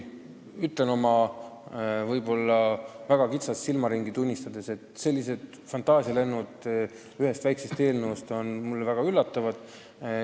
Teate, oma võib-olla väga kitsast silmaringi tunnistades ma ütlen, et sellised fantaasialennud ühe väikse eelnõu mõjul on mulle väga üllatavad.